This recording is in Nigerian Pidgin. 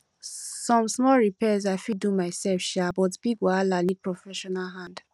some small repairs i fit do myself um but big wahala need professional hand